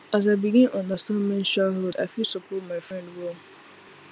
as i begin understand menstrual health i fit support my friend well